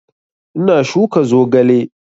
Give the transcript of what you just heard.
Ina shuka zogale